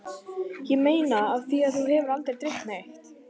Ég meina af því mig hefur aldrei dreymt neitt.